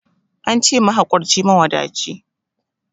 Ance mahakurci mawadaci